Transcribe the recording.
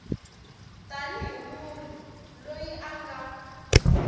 tanihi munhu loyi a nga